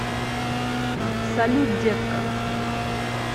салют детка